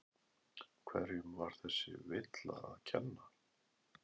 Hverjum var þessi villa að kenna?